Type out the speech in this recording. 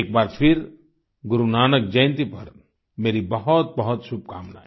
एक बार फिर गुरु नानक जयंती पर मेरी बहुतबहुत शुभकामनाएँ